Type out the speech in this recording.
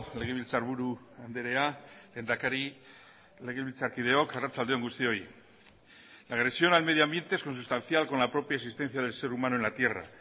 legebiltzarburu andrea lehendakari legebiltzarkideok arratsalde on guztioi la agresión al medio ambiente es consustancial con la propia existencia del ser humano en la tierra